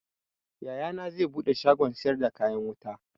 Yayana zai buɗe shagon siyar da kayan wuta